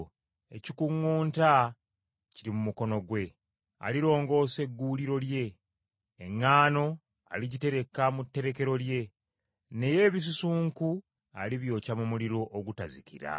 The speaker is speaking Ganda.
Ekikuŋŋunta kiri mu mukono gwe, alirongoosa egguuliro lye. Eŋŋaano aligitereka mu tterekero lye, naye ebisusunku alibyokya mu muliro ogutazikira.”